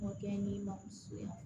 Mɔkɛ n'i ma suya